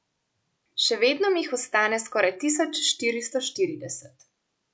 Še vedno mi jih ostane skoraj tisoč štiristo štirideset.